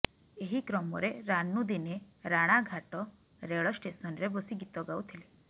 ଏହି କ୍ରମରେ ରାନୁ ଦିନେ ରାଣାଘାଟ ରେଳ ଷ୍ଟେସନରେ ବସି ଗୀତ ଗାଉଥିଲେ